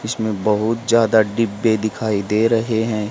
इसमें बहुत ज्यादा डिब्बे दिखाई दे रहे हैं।